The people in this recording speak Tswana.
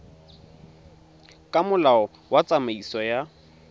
ka molao wa tsamaiso ya